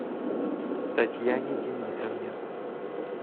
татьяне денисовне